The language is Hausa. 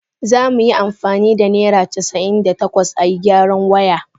Za mu yi amfani da naira casa'in da takwas a yi gyaran waya.